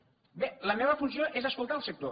bé la meva funció és escoltar el sector